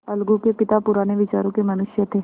अलगू के पिता पुराने विचारों के मनुष्य थे